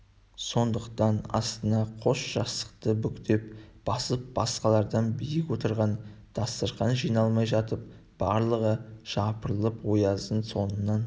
сондықтан астына қос жастықты бүктеп басып басқалардан биік отырған дастарқан жиналмай жатып барлығы жапырылып ояздың соңынан